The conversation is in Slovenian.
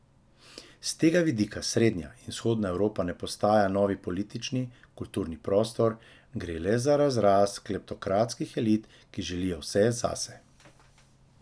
S tega vidika srednja in vzhodna Evropa ne postaja novi politični, kulturni prostor, gre le za razrast kleptokratskih elit, ki želijo vse zase.